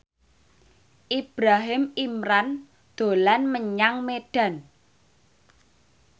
Ibrahim Imran dolan menyang Medan